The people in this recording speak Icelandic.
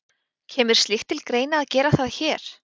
Kemur slíkt til greina að gera það hér?